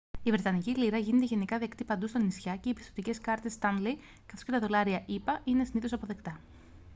η βρετανική λίρα γίνεται γενικά δεκτή παντού στα νησιά και οι πιστωτικές κάρτες stanley καθώς και τα δολάρια ηπα είναι συνήθως αποδεκτά